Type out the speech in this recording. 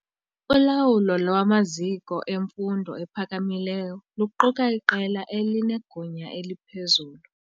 Ulawulo lwamaziko emfundo ephakamileyo luquka iqela elinegunya eliphezulu.